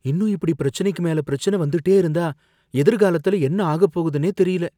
இன்னும் இப்படி பிரச்சினைக்கு மேல பிரச்சனை வந்துட்டே இருந்தா எதிர்காலத்துல எனக்கு என்ன ஆகப்போகுதுன்னே தெரியல.